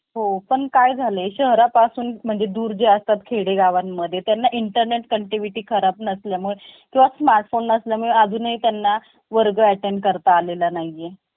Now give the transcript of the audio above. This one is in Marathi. Cashier म्हणून. असं कधी बघा ना sir तुम्ही.